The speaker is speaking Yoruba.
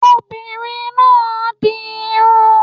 Obìnrin máà ń di irun